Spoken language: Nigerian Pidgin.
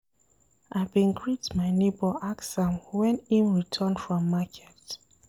I bin greet my nebo ask am wen im return from market.